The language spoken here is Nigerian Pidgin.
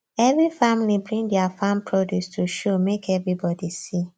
every family bring dia farm produce to show make everybody see